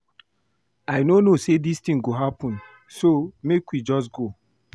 I no know say dis thing go happen so make we just go